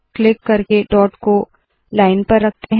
click करके dot को line पर रखते है